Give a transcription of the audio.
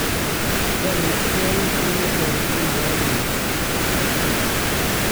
kianetgei kit netorton rauni